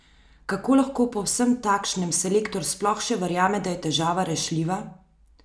Kako lahko po vsem takšnem selektor sploh še verjame, da je težava rešljiva?